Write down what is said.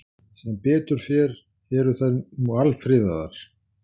Sem betur fer eru þær nú alfriðaðar.